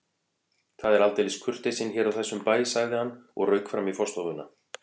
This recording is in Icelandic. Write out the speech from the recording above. Það er aldeilis kurteisin hér á þessum bæ sagði hann og rauk fram í forstofuna.